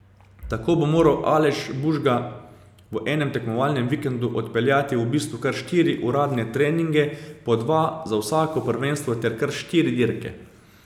Tako bo moral Aleš Bužga v enem tekmovalnem vikendu odpeljati v bistvu kar štiri uradne treninge, po dva za vsako prvenstvo ter kar štiri dirke.